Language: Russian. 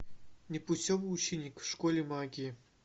непутевый ученик в школе магии